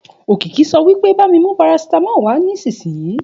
Òkìkí sọ wípé bá mí mú parasitamolu wà nísìsiyìí